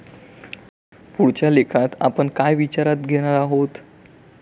पुढच्या लेखात आपण काय विचारात घेणार आहोत?